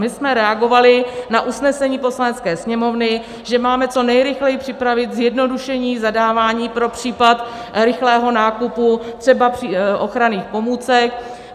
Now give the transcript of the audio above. My jsme reagovali na usnesení Poslanecké sněmovny, že máme co nejrychleji připravit zjednodušení zadávání pro případ rychlého nákupu třeba ochranných pomůcek.